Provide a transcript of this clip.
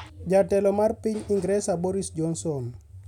Jatelo mar piny Ingresa, Boris Johnson